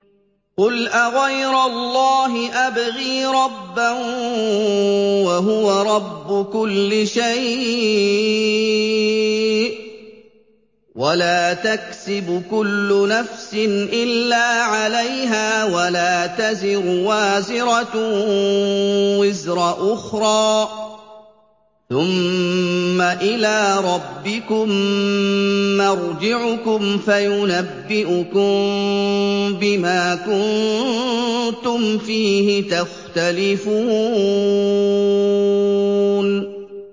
قُلْ أَغَيْرَ اللَّهِ أَبْغِي رَبًّا وَهُوَ رَبُّ كُلِّ شَيْءٍ ۚ وَلَا تَكْسِبُ كُلُّ نَفْسٍ إِلَّا عَلَيْهَا ۚ وَلَا تَزِرُ وَازِرَةٌ وِزْرَ أُخْرَىٰ ۚ ثُمَّ إِلَىٰ رَبِّكُم مَّرْجِعُكُمْ فَيُنَبِّئُكُم بِمَا كُنتُمْ فِيهِ تَخْتَلِفُونَ